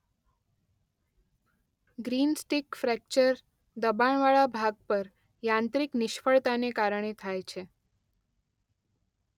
Greenstick fracture દબાણવાળા ભાગ પર યાંત્રિક નિષ્ફળતાને કારણે થાય છે.